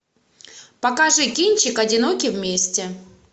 покажи кинчик одиноки вместе